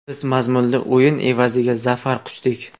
Biz mazmunli o‘yin evaziga zafar quchdik.